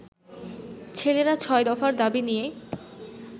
ছেলেরা ছয় দফার দাবি নিয়ে